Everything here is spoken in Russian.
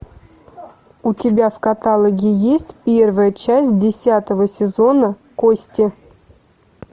у тебя в каталоге есть первая часть десятого сезона кости